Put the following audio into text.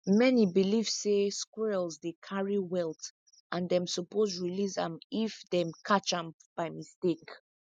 many believe say squirrels dey carry wealth and them suppose release am if them catch am by mistake